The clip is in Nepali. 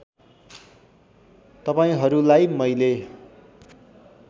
तपाईँहरूलाई मैले